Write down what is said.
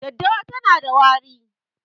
Daddawa tana da wari